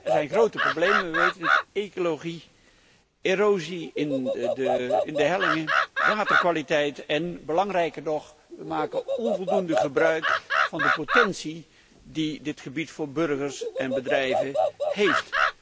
Er zijn grote problemen, wij weten het, ecologische problemen, erosie van de hellingen, de waterkwaliteit, en belangrijker nog we maken onvoldoende gebruik van de potentie die dit gebied voor burgers en bedrijven heeft.